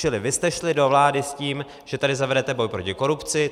Čili vy jste šli do vlády s tím, že tady zavedete boj proti korupci.